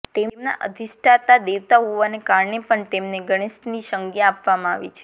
તેમના અધિષ્ઠાતા દેવતા હોવાને કારણે પણ તેમને ગણેશની સંજ્ઞા આપવામાં આવી છે